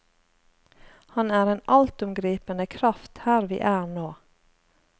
Han er en altomgripende kraft her vi er nå.